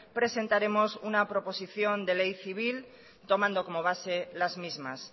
presentaremos una proposición de ley civil tomando como base las mismas